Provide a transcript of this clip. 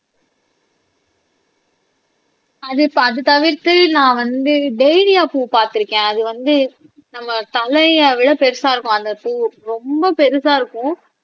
அது இப்ப அது தவிர்த்து நான் வந்து டாலியா பூ பார்த்திருக்கேன் அது வந்து நம்ம தலையை விட பெருசா இருக்கும் அந்த பூ ரொம்ப பெருசா இருக்கும்